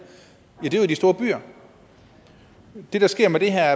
ja det er jo i de store byer det der sker med det her